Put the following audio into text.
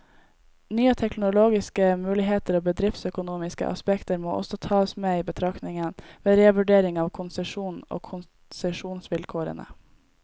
Nye teknologiske muligheter og bedriftsøkonomiske aspekter må også tas med i betraktningen, ved revurdering av konsesjonen og konsesjonsvilkårene.